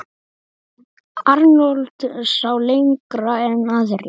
Arnold sá lengra en aðrir.